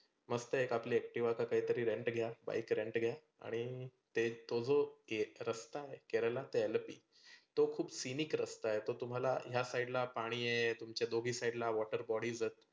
मस्त आपलं एक Activa काहीतर rent ने घ्या bike rent ने घ्या. तेच तो जो एक रस्ता आहे केरला ते अलोपी तो खुप scenic रस्ता आहे तो तुम्हाला ह्या side ला पाणि आहे दुमच्या दोघी side ला water bodies आहेत.